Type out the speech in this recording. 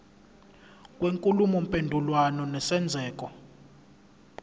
kwenkulumo mpendulwano nesenzeko